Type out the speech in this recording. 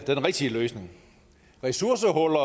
rigtige løsning ressourcehuller